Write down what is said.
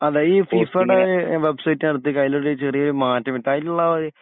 അതെ ഈ ഫിഫ ടെ വെബ്സൈറ്റ് എടുത്ത് ചെറിയൊരു മാറ്റം വരുത്ത് അതിലുള്ള